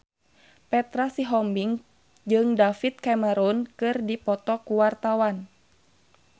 Petra Sihombing jeung David Cameron keur dipoto ku wartawan